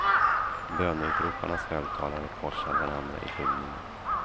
Böneutroparnas högtalare korsar varandra i skymningen.